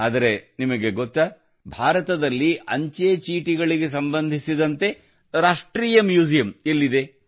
ಆದರೆ ನಿಮಗೆ ಗೊತ್ತಾ ಭಾರತದಲ್ಲಿ ಅಂಚೆಚೀಟಿಗಳಿಗೆ ಸಂಬಂಧಿಸಿದಂತೆ ರಾಷ್ಟ್ರೀಯ ಮ್ಯೂಸಿಯಂ ಎಲ್ಲಿದೆ